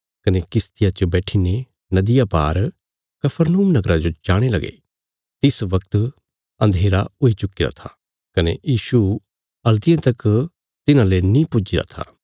कने किश्तिया च बैठीने नदिया पार कफरनहूम नगरा जो जाणे लगे तिस वगत अन्धेरा हुई चुक्कीरा था कने यीशु हल्तियें तक तिन्हांले नीं पुज्जीरा था